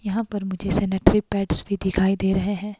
यहाँ पर मुझे सैनेटरी पैड्स भी दिखाई दे रहे हैं।